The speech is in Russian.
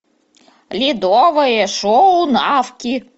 ледовое шоу навки